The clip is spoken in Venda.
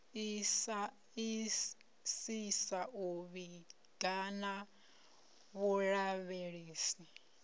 isisa u vhiga na vhulavhelesi